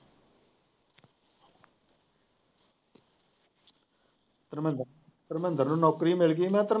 ਧਰਮਿੰਦਰ, ਧਰਮਿੰਦਰ ਨੂੰ ਨੌਕਰੀ ਮਿਲ ਗਈ।